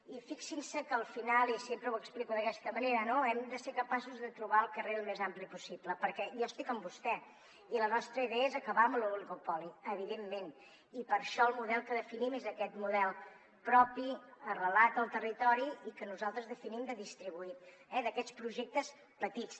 i fixin se que al final i sempre ho explico d’aquesta manera no hem de ser capaços de trobar el carril més ampli possible perquè jo estic amb vostè i la nostra idea és acabar amb l’oligopoli evidentment i per això el model que definim és aquest model propi arrelat al territori i que nosaltres definim de distribuït eh d’aquests projectes petits